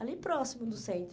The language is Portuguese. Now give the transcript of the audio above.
Ali próximo do centro.